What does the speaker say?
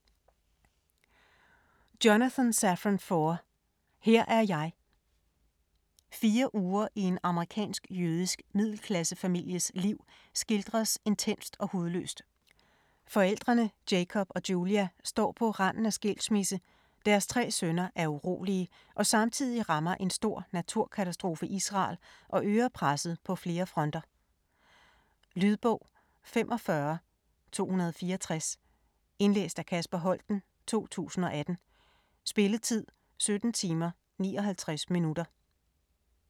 Foer, Jonathan Safran: Her er jeg Fire uger i en amerikansk-jødisk middelklassefamilies liv skildres intenst og hudløst. Forældrene Jacob og Julia står på randen af skilsmisse, deres tre sønner er urolige og samtidig rammer en stor naturkatastrofe Israel og øger presset på flere fronter. Lydbog 45264 Indlæst af Kasper Holten, 2018. Spilletid: 17 timer, 59 minutter.